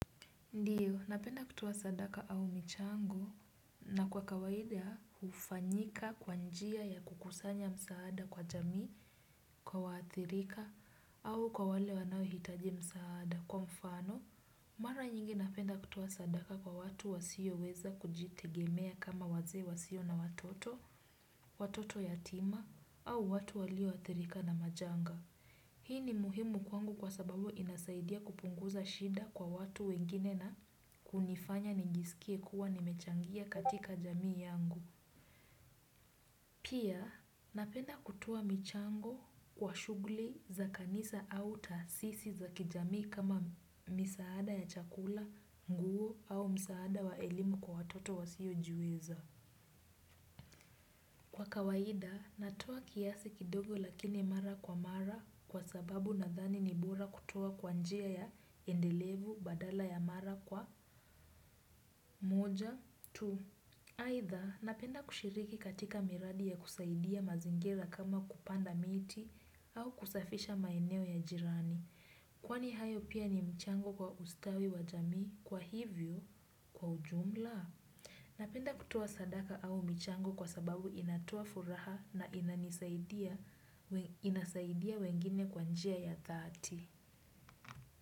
Ndiyo, napenda kutoa sadaka au mchango na kwa kawaida hufanyika kwa njia ya kukusanya msaada kwa jamii, kwa waathirika au kwa wale wanaohitaji msaada. Kwa mfano, mara nyingi napenda kutoa sadaka kwa watu wasioweza kujitegemea kama wazee wasio na watoto, watoto yatima au watu walioathirika na majanga. Hii ni muhimu kwangu kwa sababu inasaidia kupunguza shida kwa watu wengine na kunifanya ningisikie kuwa nimechangia katika jamii yangu. Pia napenda kutoa michango wa shughuli za kanisa au taasisi za kijamii kama misaada ya chakula, nguo au msaada wa elimu kwa watoto wasiojiweza. Kwa kawaida, natoa kiasi kidogo lakini mara kwa mara kwa sababu nadhani ni bora kutoa kwa njia ya endelevu badala ya mara kwa moja tu. Aidha, napenda kushiriki katika miradi ya kusaidia mazingira kama kupanda miti au kusafisha maeneo ya jirani. Kwani hayo pia ni mchango kwa ustawi wa jamii kwa hivyo kwa ujumla? Napenda kutoa sadaka au michango kwa sababu inatoa furaha na inasaidia wengine kwa njia ya dhati.